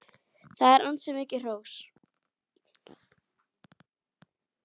Það er ansi mikið hrós!